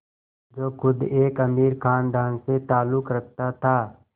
जो ख़ुद एक अमीर ख़ानदान से ताल्लुक़ रखता था